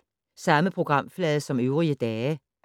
Samme programflade som øvrige dage